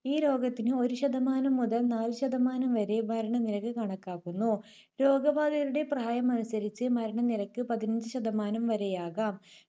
ഈ രോഗത്തിന് ഒരു ശതമാനം മുതൽ നാല് ശതമാനം വരെ മരണനിരക്ക് കണക്കാക്കുന്നു. രോഗബാധിതരുടെ പ്രായമനുസരിച്ച് മരണനിരക്ക് പതിനഞ്ച് ശതമാനം വരെയാകാം.